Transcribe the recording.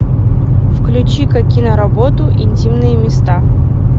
включи ка киноработу интимные места